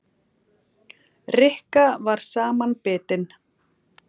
Rikka var samanbitin.